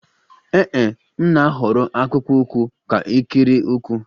Ee e, m na-ahọrọ akpụkpọ ụkwụ ka ikiri ụkwụ